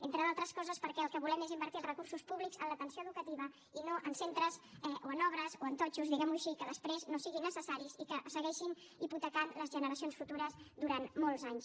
entre altres coses perquè el que volem és invertir els recursos públics en l’atenció educativa i no en centres o en obres o en totxos diguem ho així que després no siguin necessaris i que segueixin hipotecant les generacions futures durant molts anys